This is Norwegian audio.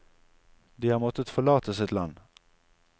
De har måttet forlate sitt land.